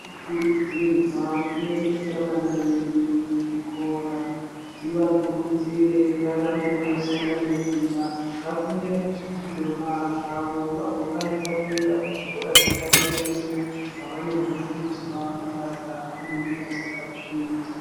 Tinokurudzirwa kuendesa vana vedu kuzvikora, tivakurudzire varambe veishanda nesimba vakunde muzvidzidzo zvavo, vagokwanisa kuenda kuzvikora zvepadera-dera, kwavanonofundiswa mabasa avanenge vachada kuzoita.